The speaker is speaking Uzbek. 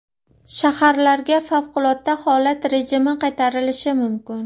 Shaharlarga favqulodda holat rejimi qaytarilishi mumkin.